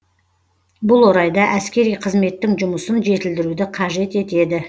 бұл орайда әскери қызметтің жұмысын жетілдіруді қажет етеді